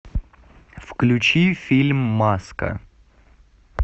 включи фильм маска